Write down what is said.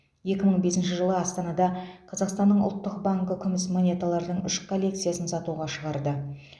екі мың бесінші жылы астанада қазақстанның ұлттық банкі күміс монеталардың үш коллекциясын сатуға шығарды